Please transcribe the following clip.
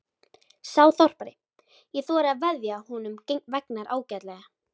Sá þorpari: ég þori að veðja að honum vegnar ágætlega.